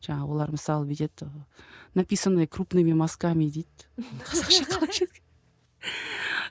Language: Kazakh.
жаңағы олар мысалы бүйтеді написаны крупными мазками дейді қазақша қалай